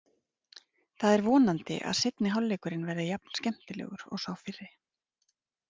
Það er vonandi að seinni hálfleikurinn verði jafn skemmtilegur og sá fyrri.